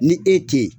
Ni e te ye